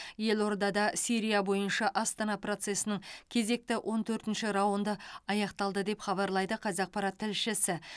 елордада сирия бойынша астана процесінің кезекті он төртінші раунды аяқталды деп хабарлайды қазақпарат тілшісі